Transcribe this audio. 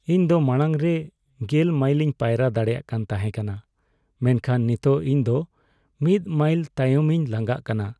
ᱤᱧ ᱫᱚ ᱢᱟᱲᱟᱝ ᱨᱮ ᱑᱐ ᱢᱟᱭᱤᱞᱤᱧ ᱯᱟᱭᱨᱟ ᱫᱟᱲᱮᱭᱟᱜ ᱠᱟᱱ ᱛᱟᱦᱮᱠᱟᱱᱟ ᱢᱮᱱᱠᱷᱟᱱ ᱱᱤᱛᱚᱜ ᱤᱧ ᱫᱚ ᱑ ᱢᱟᱭᱤᱞ ᱛᱟᱭᱚᱢᱤᱧ ᱞᱟᱝᱜᱟᱜ ᱠᱟᱱᱟ ᱾